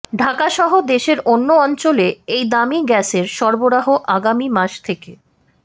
ঢাকাসহ দেশের অন্য অঞ্চলে এই দামি গ্যাসের সরবরাহ আগামী মাস থেকে